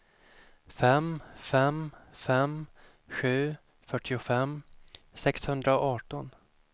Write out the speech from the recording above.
fem fem fem sju fyrtiofem sexhundraarton